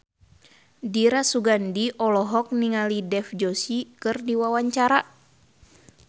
Dira Sugandi olohok ningali Dev Joshi keur diwawancara